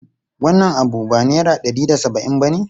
Shin wannan abu ba naira ɗari da saba'in bane?